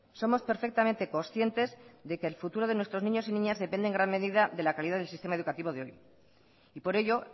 somos perfectamente conscientes de que el futuro de nuestros niños y niñas depende en gran medida de la calidad del sistema educativo de hoy y por ello